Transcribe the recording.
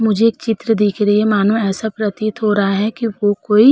मुझे एक चित्र दिख रही है मानो ऐसा प्रतीत हो रहा कि वो कोई --